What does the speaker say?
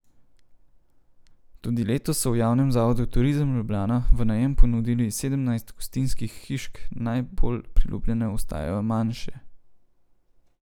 Tudi letos so v javnem zavodu Turizem Ljubljana v najem ponudili sedemnajst gostinskih hišk, najbolj priljubljene ostajajo manjše.